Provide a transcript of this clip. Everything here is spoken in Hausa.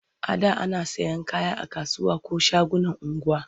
A da ana sayan kaya a kasuwa ko shagunan unguwa.